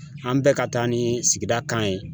An bɛ ka taa ni sigida kan ye.